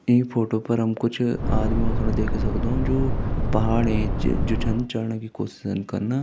इ फोटो पर हम कुछ आदमियों सण देख सकदु जू पहाड़ ऐंच जू छन चढ़ना की कोशिश छन कना।